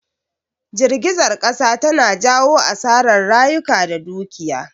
Jirgizar kasa tana jawo asarar rayuka da dukiya